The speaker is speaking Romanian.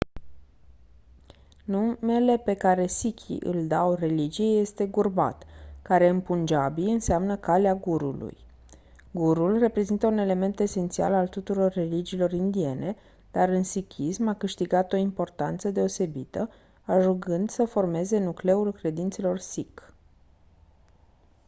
numele pe care sikhii îl dau religiei lor este gurmat care în punjabi înseamnă «calea gurului». gurul reprezintă un element esențial al tuturor religiilor indiene dar în sikhism a câștigat o importanță deosebită ajungând să formeze nucleul credințelor sikh.